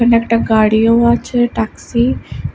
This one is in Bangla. এখানে একটা গাড়ি ও আছে টাক্সি --